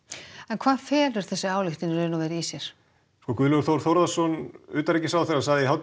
hvað felur þessi ályktun í sér Guðlaugur Þór Þórðarson utanríkisráðherra sagði í